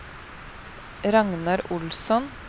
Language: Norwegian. Ragnar Olsson